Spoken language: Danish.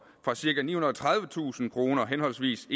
fra cirka nihundrede og tredivetusind kroner henholdsvis